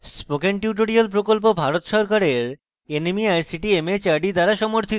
spoken tutorial প্রকল্প ভারত সরকারের nmeict mhrd দ্বারা সমর্থিত